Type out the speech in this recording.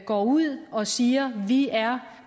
går ud og siger de er